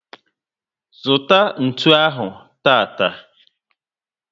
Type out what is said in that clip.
Zụta ntụ ahụ tata!